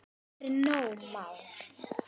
Marinó Már.